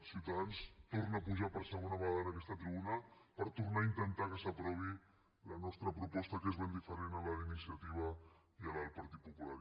ciutadans torna a pujar per segona vegada en aquesta tribuna per tornar a intentar que s’aprovi la nostra proposta que és ben diferent de la d’iniciativa i de la del partit popular